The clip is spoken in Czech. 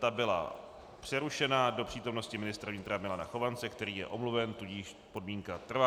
Ta byla přerušena do přítomnosti ministra vnitra Milana Chovance, který je omluven, tudíž podmínka trvá.